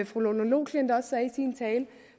fru lone loklindt også